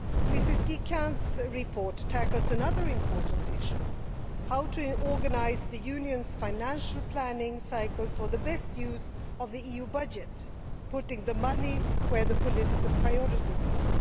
Mrs Guy Quint's report tackles another important issue how to organise the Union's financial planning cycle for the best use of the EU budget, putting the money where the political priorities are.